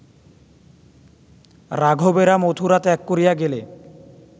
রাঘবেরা মথুরা ত্যাগ করিয়া গেলে